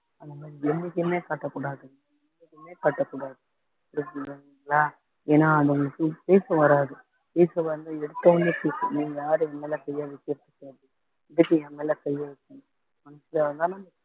அந்த மாதிரி என்னைக்குமே காட்டக்கூடாது என்னைக்குமே காட்டக்கூடாது புரியுதுங்களா ஏன்னா அதுங்களுக்கு பேச வராது பேச வந்து எடுத்த உடனே நீங்க யாரு என்மேல கையை வைக்கிறதுக்கு எதுக்கு என் மேல கையை வைக்கணும்